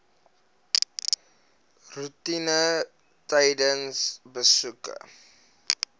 roetine tydens besoeke